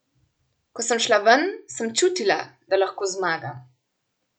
Ko sem šla ven, sem čutila, da lahko zmagam.